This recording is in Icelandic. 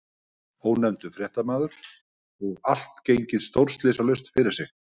Ónefndur fréttamaður: Og allt gengið stórslysalaust fyrir sig?